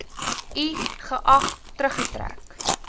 i geag teruggetrek